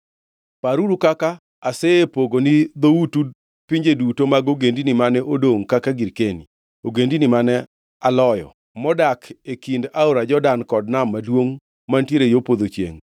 Paruru kaka asepogo ni dhoutu pinje duto mag ogendini mane odongʼ kaka girkeni, ogendini mane aloyo, modak e kind aora Jordan kod Nam Maduongʼ mantiere yo podho chiengʼ.